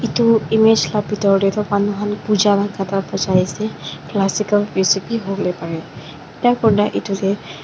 etu image la pethor dae tuh manu khan pooja khan bajai ase classical music bhi hovole parey etya kurina etu dae--